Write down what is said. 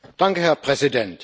Herr Präsident!